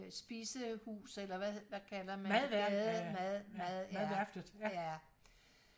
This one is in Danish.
øh spisehus eller hvad kalder man det mad mad mad øh ja